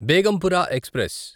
Begampura express